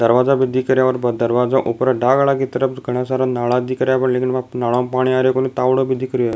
दरवाजा भी दिख रेहो है बा दरवाजा ऊपर डागला की तरफ घना सारा नाला दिख रहा है लेकिन बा नाला में पानी आ रहा कोणी तावड़ो भी दिख रेहो है।